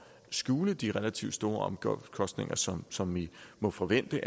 skjule de relativt store omkostninger som som vi må forvente